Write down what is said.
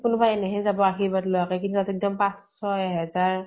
কোনোবা এনেই হেযাব, আৰ্শীবাদ লোৱাকে, কিন্তু তাহঁতে একদম পাচঁশ এহাজাৰ ।